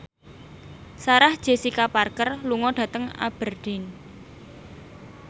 Sarah Jessica Parker lunga dhateng Aberdeen